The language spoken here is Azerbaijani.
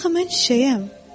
Axı mən çiçəyəm.